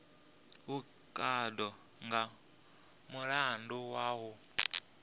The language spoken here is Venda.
vhukando nga mulandu wa u